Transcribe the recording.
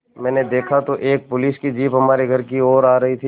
मैंने देखा तो एक पुलिस की जीप हमारे घर की ओर आ रही थी